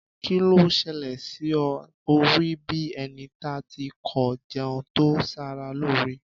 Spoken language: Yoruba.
Kí ló ṣẹlẹ̀ sí ọ, ọ rí bíi ẹni da tí kò jẹun to saralóore